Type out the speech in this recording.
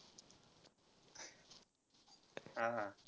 हा हा.